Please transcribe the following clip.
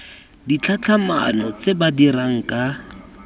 ditlhatlhamano tse ba dirang ka